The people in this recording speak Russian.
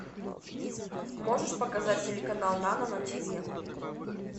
можешь показать телеканал нано на тв